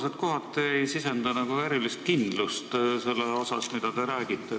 Teie vastused ei sisenda kohati erilist kindlust selles, mida te räägite.